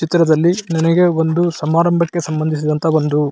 ಚಿತ್ರದಲ್ಲಿ ನನಗೆ ಒಂದು ಸಮಾರಂಭಕ್ಕೆ ಸಂಬಂಧಿಸಿದಂತಹ ಒಂದು --